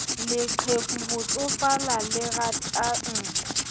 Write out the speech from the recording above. leqheku ho tsofala le ratang